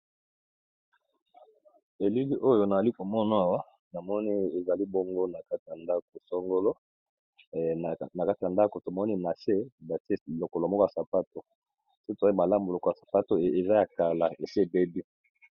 Elili oyo nazomona Awa namoni eza na kati ya ndako songolo tomoni nase batiye loko moko ya sapato sokî to moni malamu lokolo oyo ESI ebebi.